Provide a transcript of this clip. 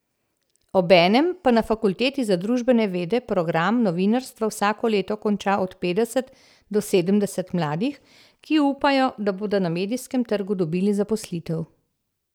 Obenem pa na fakulteti za družbene vede program novinarstva vsako leto konča od petdeset do sedemdeset mladih, ki upajo, da bodo na medijskem trgu dobili zaposlitev.